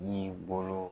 Ni bolo